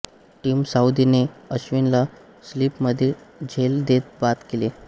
team साउदीने अश्विन ला slip मध्ये झेल देत बाद केले